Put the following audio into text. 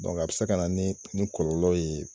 Dɔnke a be se ka na ni kɔlɔlɔ ye